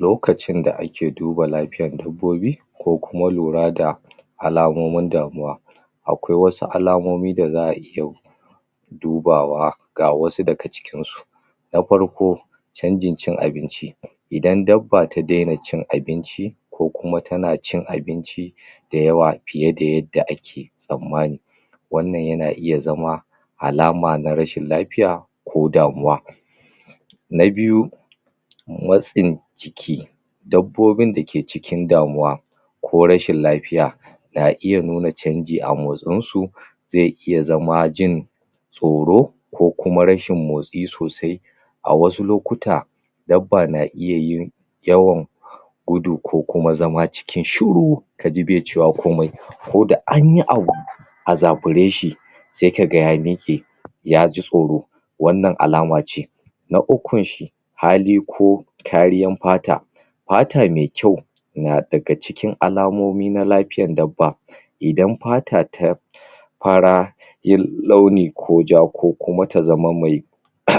Lokacin da ake duba lafiyan dabbobi ko kuma lura da alamomin damuw akwai wasu alamomi da za iya dubawa ga wasu daga cikin su. Na farko, canjin cin abinci idan dabba ta dena cin abinci, ko kuma tana cin abinci dayawa fiye da yadda ake tsammani wannan yana iya zama alama na rashin lafiya ko damuwa. Na biyu, matsin jiki dabbobin da ke cikin damuw ko rashin lafiya na iya nuna canji a motsin su ze iya zama jin tsoro ko kuma rashin motsi sosai a wasu lokuta, dabba na iya yiin yawan gudu ko kuma zama waje shuru kaji be cewa komai ko da anyi abu azakure shi sai ka ga ya mike ya ji tsoro wannan alama ce. Na ukun shi hali ko kariyan fata fata me kyau na daga cikin alamomi na lafiyan dabba idan fata ta fara launi ko ja ko kuma ta zama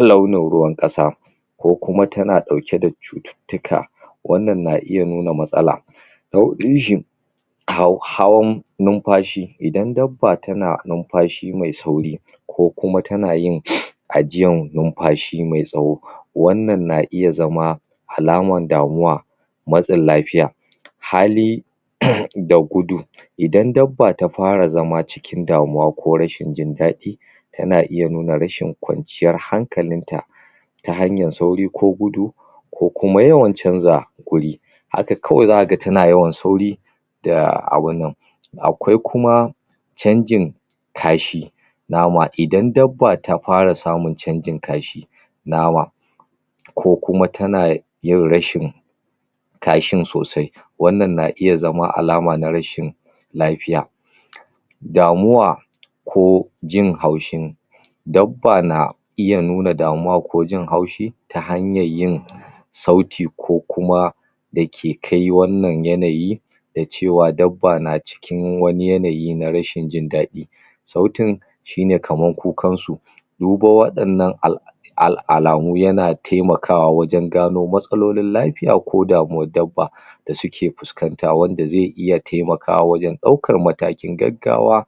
launo ruwan kasa ko kuma tana dauke da cuttutuka wannan na iya nuna matsala. Na hudu hawan numfashi, idan dabba tana numfashi me sauri, ko kuma tana yin hajiyan numfashi mai tsowa, wannan na iya zama alaman damuwa, matsin lafiya. Hali da gudu idan dabba ta fara zama cikin damuwa ko rashin jin dadi, tana iya nuna rashin kwanciyar hankalin ta ta hanyar sauri ko gudu ko kuma yawan canza wuri Haka kawai za ka ga tana yawan sauri da abunnan. Akwai kuma canjin kashi, nama idan dabba ta fara samun canjin kashi, nawa ko kuma tana yin rashin kashin sosai, wannan na iya zama alaman rashin lafiya Damuwa ko jin haushin dabba na iya nuna damuwa ko jin haushi ta hanyan yin sauti ko kuma da ke kai wannan yanayi da cewa dabba na cikin wane yanayi na rashin jin dadi Sautin shi ne kaman kukan su, duban wadannan alamu yana taimakawa wajen gano matsalolin lafiya ko damuwan dabba da suke fuscanta wanda ze iya taimakawa wajen daukan matakin gaggawa